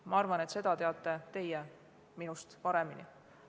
Ma arvan, et seda teate teie minust paremini.